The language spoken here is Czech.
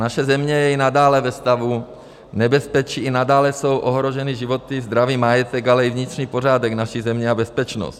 Naše země je i nadále ve stavu nebezpečí, i nadále jsou ohroženy životy, zdraví, majetek, ale i vnitřní pořádek naší země a bezpečnost.